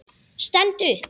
Stend upp.